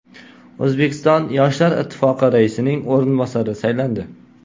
O‘zbekiston yoshlar ittifoqi raisining o‘rinbosarlari saylandi.